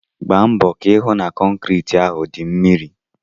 Gbaa mbọ ka ị hụ na kọnkriti ahụ dị mmiri!